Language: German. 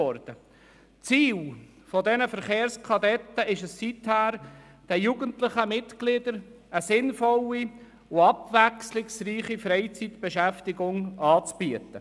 Das Ziel des VK-BE besteht seither darin, den jugendlichen Mitgliedern eine sinnvolle und abwechslungsreiche Freizeitbeschäftigung anzubieten.